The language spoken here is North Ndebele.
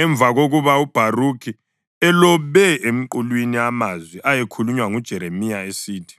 emva kokuba uBharukhi elobe emqulwini amazwi ayekhulunywe nguJeremiya esithi,